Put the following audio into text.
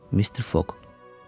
Mister Foq.